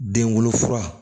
Den wolo fura